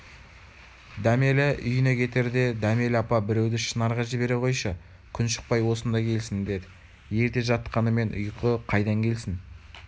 дәмелі үйіне кетердедәмелі апа біреуді шынарға жібере қойшы күн шықпай осында келсін деді ерте жатқанымен ұйқы қайдан келсін